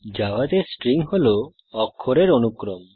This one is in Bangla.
জাভাতে স্ট্রিং হল অক্ষরের অনুক্রম